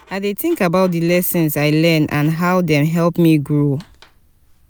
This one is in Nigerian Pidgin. i dey think about di lessons i learn and how dem help me grow.